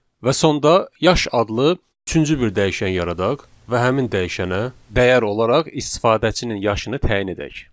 Və sonda yaş adlı üçüncü bir dəyişən yaradaq və həmin dəyişənə dəyər olaraq istifadəçinin yaşını təyin edək.